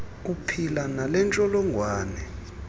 uphila nale ntsholongwane